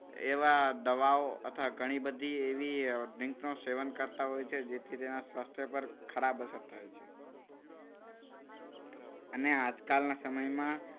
એવા દવાઓ તથા ઘણી બધી એવી drink નું સેવન કરતા હોય છે. કે જેથી તેના સ્વાસ્થ્ય પર ખરાબ અસર થાય છે. અને આજકાલના સમયમાં